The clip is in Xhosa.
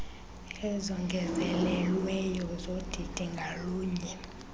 ezongezelelweyo zodidi ngalunye